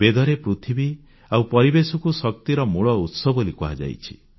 ବେଦରେ ପୃଥିବୀ ଆଉ ପରିବେଶକୁ ଶକ୍ତିର ମୂଳଉତ୍ସ ବୋଲି କୁହାଯାଇଛି